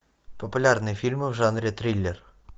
популярные фильмы в жанре триллер